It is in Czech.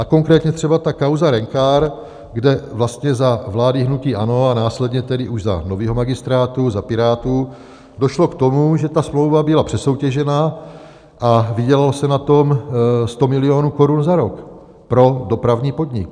A konkrétně třeba ta kauza Rencar, kde vlastně za vlády hnutí ANO a následně tedy už za nového magistrátu, za Pirátů, došlo k tomu, že ta smlouva byla přesoutěžena a vydělalo se na tom 100 milionů korun za rok pro dopravní podnik.